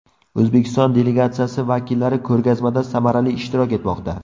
O‘zbekiston delegatsiyasi vakillari ko‘rgazmada samarali ishtirok etmoqda.